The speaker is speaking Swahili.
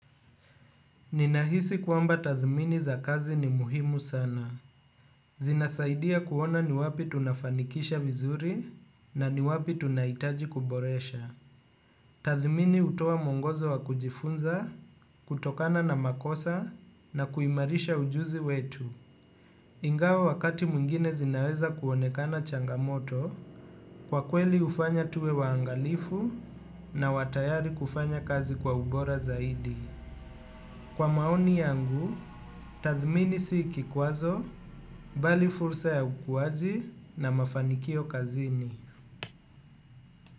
Ninahisi kwamba tathmini za kazi ni muhimu sana. Zinasaidia kuona ni wapi tunafanikisha vizuri, na ni wapi tunahitaji kuboresha. Tathmini hutoa mwongozo wa kujifunza, kutokana na makosa na kuimarisha ujuzi wetu. Ingawa wakati mwingine zinaweza kuonekana changamoto, kwa kweli hufanya tuwe waangalifu na wa tayari kufanya kazi kwa ubora zaidi. Kwa maoni yangu, tathmini si kikwazo, bali fursa ya ukuwaji na mafanikio kazini.